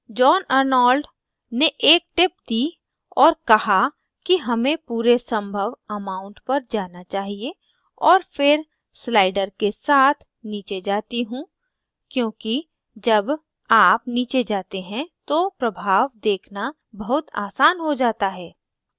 john Arnold ने एक tip दी और कहा कि हमें पूरे संभव amount पर जाना चाहिए और फिर slider के साथ नीचे जाती हूँ क्योंकि जब आप नीचे जाते हैं तो प्रभाव देखना बहुत आसान हो जाता है